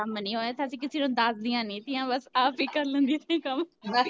ਅਸੀਂ ਕਿਸੇ ਨੂੰ ਦਸਦੀਆਂ ਨੀ ਤੀਆ ਬੱਸ ਆਪ ਏ ਕਰ ਲੈਂਦੀਆਂ ਸੀ ਕੰਮ